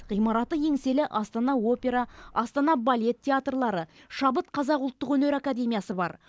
ғимараты еңселі астана опера астана балет театрлары шабыт қазақ ұлттық өнер академиясы бар